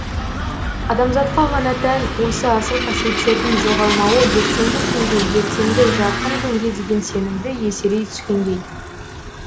адамзатқа ғана тән осы асыл қасиеттердің жоғалмауы ертеңгі күнге ертеңгі жарқын күнге деген сенімді еселей түскендей